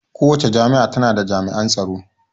Kowacce jami'a ta na da jami'an tsaro